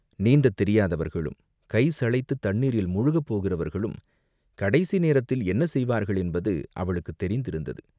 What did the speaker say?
நீந்தத் தெரியாதவர்களும் கை சளைத்துத் தண்ணீரில் முழுகப் போகிறவர்களும் கடைசி நேரத்தில் என்ன செய்வார்கள் என்பது அவளுக்குத் தெரிந்திருந்தது.